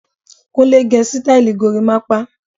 Kúnlẹ́ gé sítáílì gorimapa.